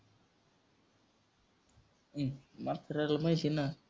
हम्म म्हाताऱ्याला माहिती आहे ना.